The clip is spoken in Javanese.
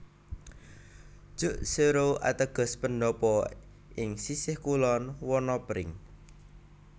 Jukseoru ateges Pendopo ing sisih kulon Wana Pring